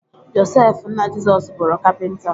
Josef nna Jizọs bụrụ Kapịnta